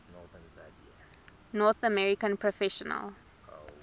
north american professional